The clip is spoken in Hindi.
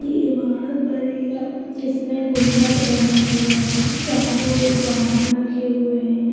इमारत बनी है। जिसमे गुंबत बना हुआ है। चारों और वाहन रखे हुए है।